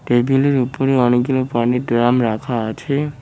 টেবিলের উপরে অনেকগুলো পানির ড্রাম রাখা আছে।